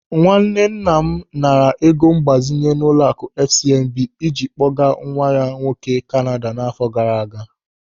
Nwanne nna m naara ego mgbazinye n'ụlọaku FCMB ịji kpọgaa nwa ya nwoke Kanada n'àfọ́ gaara aga.